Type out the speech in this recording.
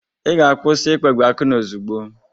Ị ga-akwụsị ịkpagbu Akunna ozugbo!